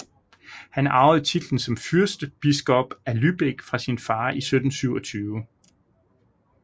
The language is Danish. Han arvede titlen som fyrstbiskop af Lübeck fra sin far i 1727